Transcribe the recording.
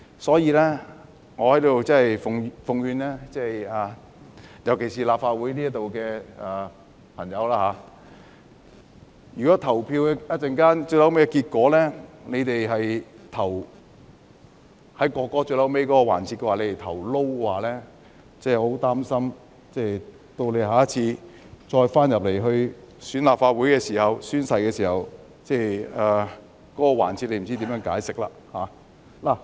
所以，我在此奉勸立法會的朋友，如果稍後他們在《條例草案》進行表決時投下 "No" 的話，我很擔心他們下次如果當選後回到立法會宣誓時，不知道他們會如何解釋。